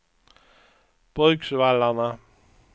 Bruksvallarna